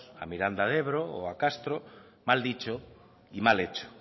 a miranda de ebro o a castro mal dicho y mal hecho